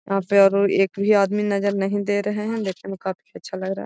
यहाँ पर ओरो एक भी आदमी नजर नहीं दे रहे हैं देखने में काफी अच्छा लग रहा है।